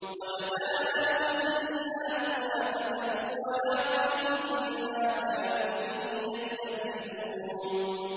وَبَدَا لَهُمْ سَيِّئَاتُ مَا كَسَبُوا وَحَاقَ بِهِم مَّا كَانُوا بِهِ يَسْتَهْزِئُونَ